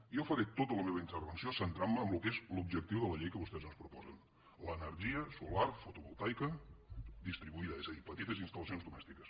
jo faré tota la meva intervenció centrant·me en el que és l’objectiu de la llei que vostès ens proposen l’ener·gia solar fotovoltaica distribuïda és a dir petites instal·lacions domèstiques